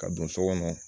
Ka don so kɔnɔ